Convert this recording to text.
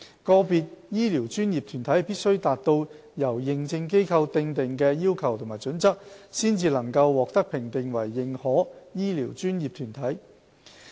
個別醫療專業團體必須達到由認證機構訂定的要求及準則，方能獲評定為"認可醫療專業團體"。